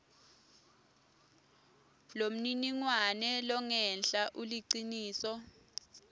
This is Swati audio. lomniningwane longenla uliciniso